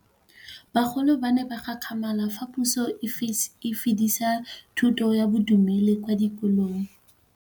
Bagolo ba ne ba gakgamala fa Pusô e fedisa thutô ya Bodumedi kwa dikolong.